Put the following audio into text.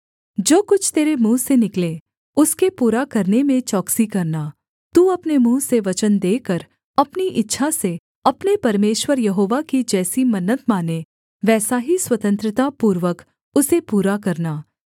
जो कुछ तेरे मुँह से निकले उसके पूरा करने में चौकसी करना तू अपने मुँह से वचन देकर अपनी इच्छा से अपने परमेश्वर यहोवा की जैसी मन्नत माने वैसा ही स्वतंत्रता पूर्वक उसे पूरा करना